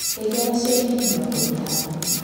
Ndeithia na ciringi mĩrongo ĩtano.